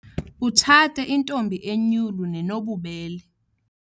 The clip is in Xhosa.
Utshate intombi enyulu nenobubele.